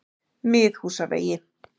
Miðhúsavegi